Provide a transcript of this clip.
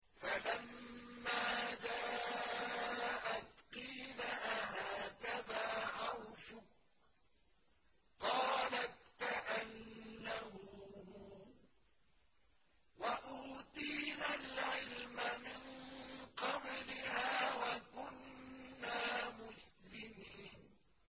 فَلَمَّا جَاءَتْ قِيلَ أَهَٰكَذَا عَرْشُكِ ۖ قَالَتْ كَأَنَّهُ هُوَ ۚ وَأُوتِينَا الْعِلْمَ مِن قَبْلِهَا وَكُنَّا مُسْلِمِينَ